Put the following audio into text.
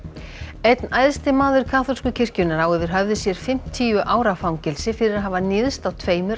einn æðsti maður kaþólsku kirkjunnar á yfir höfði sér fimmtíu ára fangelsi fyrir að hafa níðst á tveimur